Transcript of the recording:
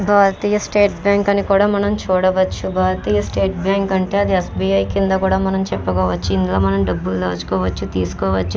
భారతీయ State Bank అని కూడా మనం చూడవచ్చు. భారతీయ స్టేట్ బ్యాంక్ అంటే అది ఎస్బిఐ కింద కూడా చెప్పుకోవచ్చు. ఇందులో మనం డబ్బులు దాచుకోవచ్చు తీసుకోవచ్చు.